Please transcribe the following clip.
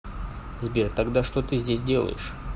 сбер тогда что ты здесь делаешь